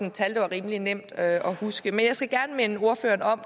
et tal det var rimelig nemt at huske men jeg skal gerne minde ordføreren om